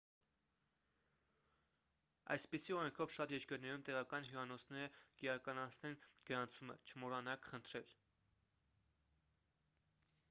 այսպիսի օրենքով շատ երկրներում տեղական հյուրանոցները կիրականացնեն գրանցումը չմոռանաք խնդրել: